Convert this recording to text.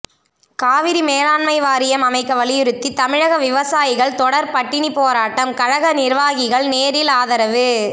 காவிரி மேலாண்மை வாரியம் அமைக்க வலியுறுத்தி தமிழக விவசாயிகள் தொடர் பட்டினிப் போராட்டம் கழக நிர்வாகிகள் நேரில் ஆதரவு